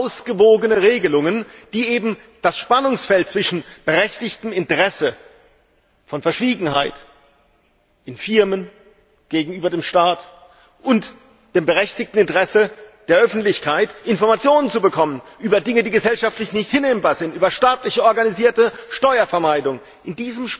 Dass sie ausgewogene Regelungen finden, die eben das Spannungsfeld zwischen berechtigtem Interesse an Verschwiegenheit, in Firmen, gegenüber dem Staat und dem berechtigten Interesse der Öffentlichkeit, Informationen zu bekommen über Dinge, die gesellschaftlich nicht hinnehmbar sind, über staatlich organisierte Steuervermeidung auflösen?